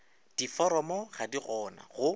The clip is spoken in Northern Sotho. difomo ga di gona go